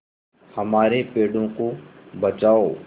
हमारे पेड़ों को बचाओ